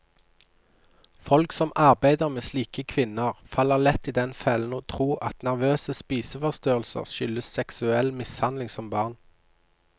Folk som arbeider med slike kvinner, faller lett i den fellen å tro at nervøse spiseforstyrrelser skyldes seksuell mishandling som barn.